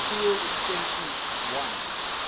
field extension l